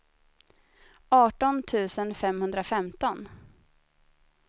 arton tusen femhundrafemton